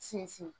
Sinsin